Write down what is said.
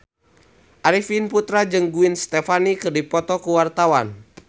Arifin Putra jeung Gwen Stefani keur dipoto ku wartawan